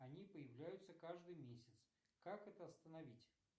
они появляются каждый месяц как это остановить